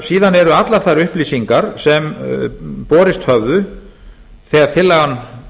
miða eru allar þær upplýsingar sem borist höfðu þegar tillagan